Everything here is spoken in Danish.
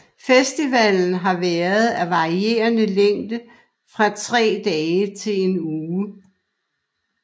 Festivalen har været af varierende længde fra tre dage til en uge